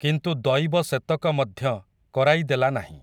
କିନ୍ତୁ ଦଇବ ସେତକ ମଧ୍ୟ, କରାଇ ଦେଲା ନାହିଁ ।